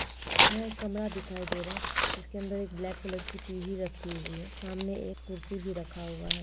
यहाँ एक कमरा दिखाई दे रहा हैं जिसके अंदर एक ब्लैक कलर की टी_वी रखी हुई हैं सामने एक कुर्सी भी रखा हुआ हैं।